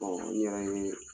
n yɛrɛ ye